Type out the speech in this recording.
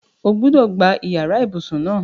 O gbúdọ̀ gbá yàrá ibùsùn náà!